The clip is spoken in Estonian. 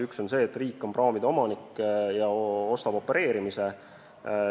Üks on see, et riik on praamide omanik ja ostab opereerimise.